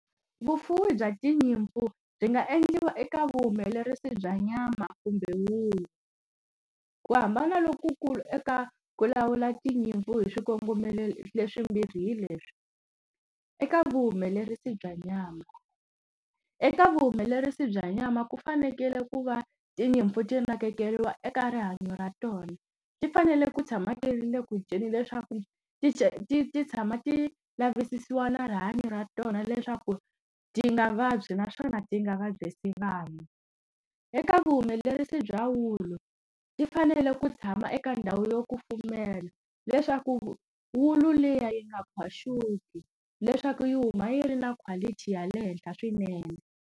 Vufuwi bya tinyimpfu byi nga endliwa eka vuhumelerisi bya nyama kumbe ulu. Ku hambana lokukulu eka ku lawula tinyimpfu hi swikongomelo leswimbirhi hi leswi. Eka vuhumelerisi bya nyama. Eka vuhumelerisi bya nyama ku fanekele ku va tinyimpfu ti nakekeriwa eka rihanyo ra tona, ti fanele ku tshama ti ri le ku dyeni leswaku ti ti ti ti tshama ti lavisisiwa na rihanyo ra tona leswaku ti nga vabyi naswona ti nga vabyisa vanhu. Eka vuhumelerisi bya ulu, ti fanele ku tshama eka ndhawu yo kufumela leswaku ulu liya yi nga khwaxuki, leswaku yi huma yi ri na quality ya le henhla swinene.